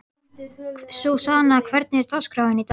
Súsanna, hvernig er dagskráin í dag?